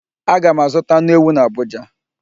Aga m azụta anụ ewu n'Abụja.